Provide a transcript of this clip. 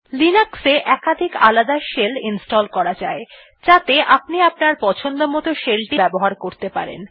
Linux এ একাধিক আলাদা শেল ইনস্টল করা যায় যাতে আপনি আপনার পছন্দমত shell টি ব্যবহার করতে পারেন